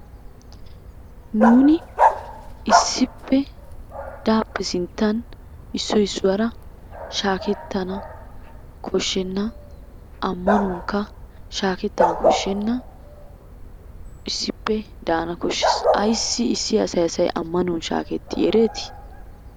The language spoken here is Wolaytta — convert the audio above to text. Nuuni issippe daappe sinttan issoy issuwara shaakettana koshshenna. Ammanuwankka shaakettana koshshenna. Issippe daana koshshees. Ayssi issi asay asay ammanuwan shaakettii ereetii?